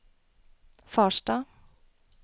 Farstad